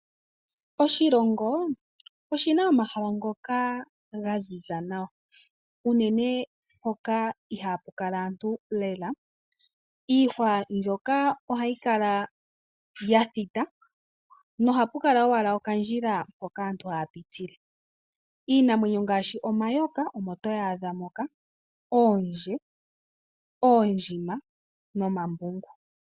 Oshilongo oshina omahala ngoka ga ziza nawa , uunene hoka ihaku kala aantu lela. Iihwa mbyoka ohayi kala ya thita na ohapu kala wala okandjila mpoka aantu ohaya pitile. Iinamwenyo ngashi omayoka omo toyi adha moka oondje, oondjima nomambungu.